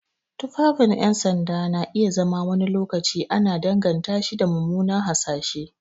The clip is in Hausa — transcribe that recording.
Tufafin 'yan sanda na iya zama wani lokaci ana danganta shi da mummuna hasashe.